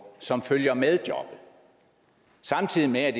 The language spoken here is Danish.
som følger med jobbet samtidig med at